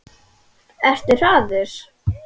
Ertu harður?